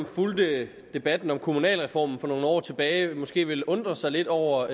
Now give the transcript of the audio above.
fulgte debatten om kommunalreformen for nogle år tilbage måske vil undre sig lidt over